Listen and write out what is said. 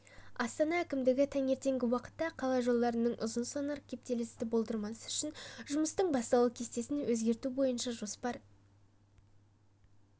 астана әкімдігі таңертеңгі уақытта қала жолдарында ұзын-сонар кептелісті болдырмас үшін жұмыстың басталу кестесін өзгерту бойынша жоспар